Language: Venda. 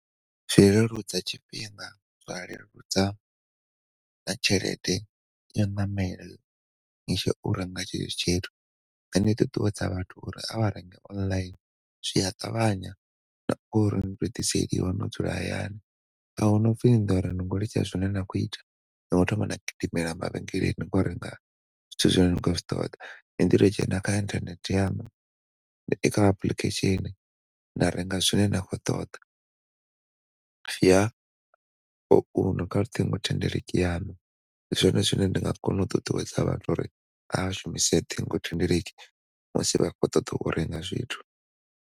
Zwi leludza tshifhinga zwa leludza na tshelede ya u ṋamela ni tshi ya u renga tshetsho tshithu. Ndi nga ṱuṱuwedza vhathu uri avha renge online zwi a ṱavhanya na uri u to ḓiselwa wo dzula hayani ahuna upfi ni ḓo litsha zwine na khou ita ni khou thoma na gidimela mavhengeleni ni khou renga zwithu zwine ni khou zwi ṱoḓa. Ni ḓi tou dzhena kha internet yaṋu kha application na renga zwine na khou ṱoḓa ṱhingothendeleki yaṋu ndi zwone zwine ndi nga kona u ṱuṱuwedza vhathu uri a vha shumise ṱhingothendeleki musi vha tshi khou ṱoḓa u renga zwithu.